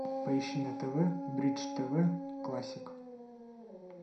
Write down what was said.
поищи на тв бридж тв классик